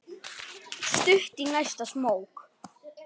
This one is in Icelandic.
Stutt í næsta smók.